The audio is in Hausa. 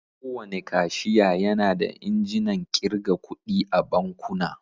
Kowane kashiya yana injinan ƙirga kuɗi a bankuna.